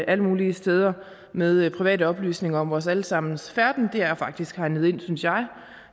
alle mulige steder med private oplysninger om vores alle sammens færden det er faktisk hegnet ind synes jeg